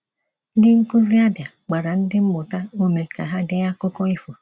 Ndị nkuzi Abia gbara ndị mmụta ume ka ha dee akụkọ ifo.